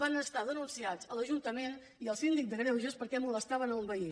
van ser denunciats a l’ajuntament i al síndic de greuges perquè molestaven un veí